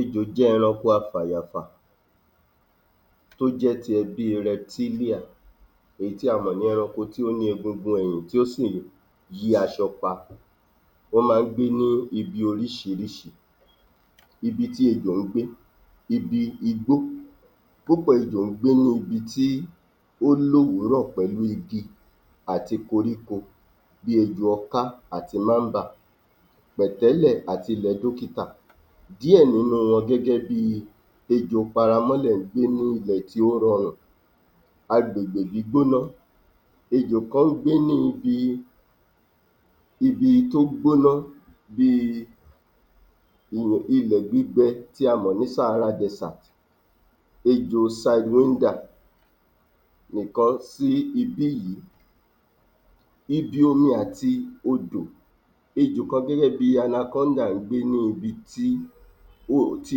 ejò jẹ́ eranko afàyàfà tó jẹ́ ti ẹbí retílíà èyí tí a mọ̀ ní eranko tó ní egungun èyìn tó́ sì yí asọ pa wọ́n má gbé ní ibi orísírísí ibití ejò gbé ibi igbó púpọ̀ ejò gbé inú ibití ó lówúrọ̀ pẹ̀lú igi àti koríko bí ejò ọká àti mábà pẹ̀tẹ́lè àti ilẹ̀ dókítà díẹ̀ nínú wọn gégé bi ejò paramọ́lè gbé inú ilẹ̀ tó rọrù agbègbè gbígbóná ejò kan gbé ní ibi ibi tó gbóná biii ilẹ̀ gbígbẹ tí a mọ̀ sí sàhàrà dẹ́sétì ejò saiwíndà nìkọ́ sí ibíyí ibi omi àti odò ejò kan gégé bi anakódà gbé ni ́ ibi tí í ó tí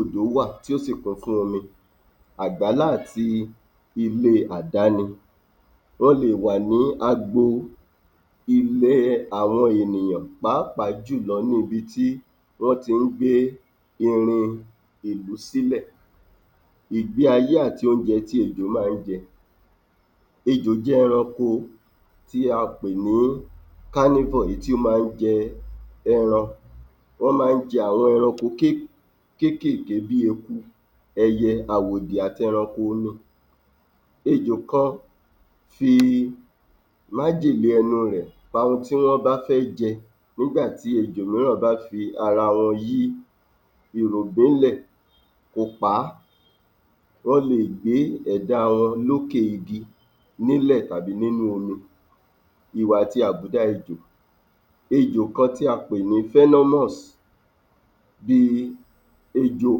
odò wà tí ó sì kún fún omi àgbàlá àti ilé àdáni wọ́n le wà ní agbo ilẹ́ àwọn ènìyàn pàápàá jùlo ní ibi tí wọ́n ti gbé irin ìlú sílẹ̀ ìgbéayé àti oúnje tí ejò má jẹ ejò jẹ́ eranko tí a pè ní kánífòr èyí tí ó má jẹ ẹran wọ́n má jẹ àwọn eranko ké kékèké bí eku ẹyẹ àwòdì àti eranko omi ejò kan fii májèlé ẹnu rẹ̀ pa ohun tí wọ́n bá fẹ́ jẹ nígbàtí ejò míràn bá fi ìrù gbé lè ó pa á wọ́n lè gbé ẹ̀dá wọn lókè igi ní lè tàbí nínú omi ìwà àti àbùdá ejò ejò kan tí a pè ní fẹ́námọ́sì bí i ejò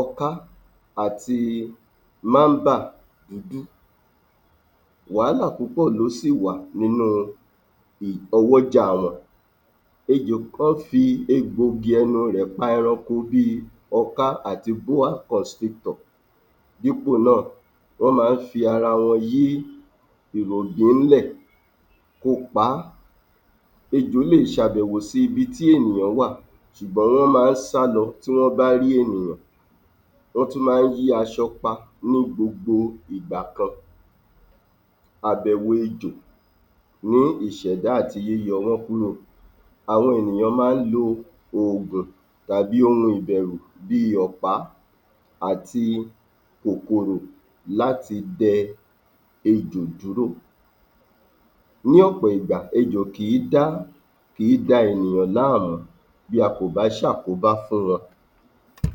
ọká àti mámbà wàhálà púpọ̀ ló sìwà nínú ọwọ́ jà wọn ejò kan fi egbò igi ẹnu rẹ̀ pa eranko bí i ọká àti búákọ̀sitọ̀ dípò náà wọ́n ma fi ara wọn yí ìrì òjò ní lè kó pa á ejò lè sàbẹ̀wò sí ibi tí ènìyàn wà sùgbón wọ́n ma sá lọ tí wọ́n bá rí ènìyàn wọ́n tún má yí asọ pa ní gbogbo ìgbà kan àbèwò ejò ní ìsèdá àti yíyọwọn kúrò àwọn ènìyàn má lo ògùn tàbí ohun ìbẹ̀rù bí ọ̀pá àti kòkòrò láti dẹ ejò júrò ní ọ̀pọ̀ ìgbà ejò kì dá kì í da ènìyàn lá mú bí a kò bá ṣe àkóbá fún wọn um